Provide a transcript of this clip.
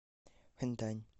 ханьдань